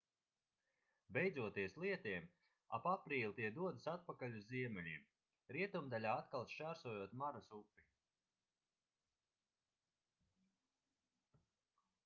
beidzoties lietiem ap aprīli tie dodas atpakaļ uz ziemeļiem rietumdaļā atkal šķērsojot maras upi